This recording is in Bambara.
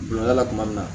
Dondala tuma min na